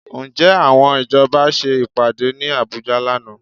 Ǹjẹ́ àwọn ìjọba ṣe ìpàdé ní Àbújá lánàá?